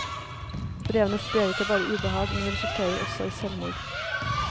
Brevene sprer ikke bare ubehag, men resulterer også i selvmord.